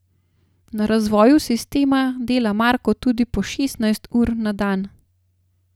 Na razvoju sistema dela Marko tudi po šestnajst ur na dan.